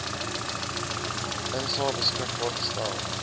insae beskikbaar gestel